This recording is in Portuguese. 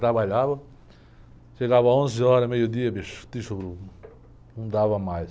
Trabalhava, chegava às onze horas, meio-dia, bicho, te juro, não dava mais.